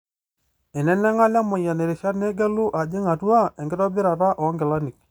Einenenga Lemayian irishat neegelu aajing atua enkitobirata oongilani.